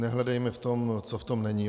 Nehledejme v tom, co v tom není.